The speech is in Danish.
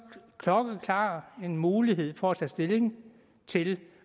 klokkeklar mulighed for at tage stilling til